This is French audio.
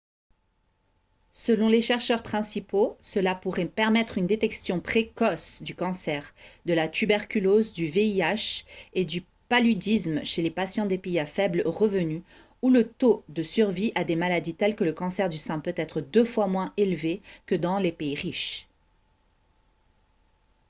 selon les chercheurs principaux cela pourrait permettre une détection précoce du cancer de la tuberculose du vih et du paludisme chez les patients des pays à faible revenu où le taux de survie à des maladies telles que le cancer du sein peut être deux fois moins élevé que dans les pays riches